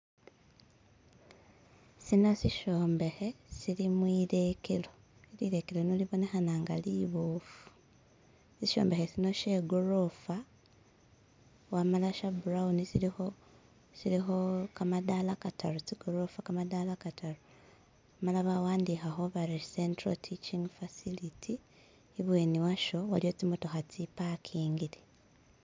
Sino sishombekhe silimwilekelo, lilekelo lino libonekhana nga liboofu, ishombekhe sino she gorofa wamala she burawuni shilikho kamadala kataru amala bawandikhakho bari " Central Teaching Facility", ibyeni washo waliyo tsimotokha tsi pakingile.